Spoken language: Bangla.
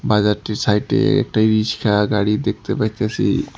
বাজারটির সাইটে -এ একটা রিস্কা গাড়ি দেখতে পাইতাসি।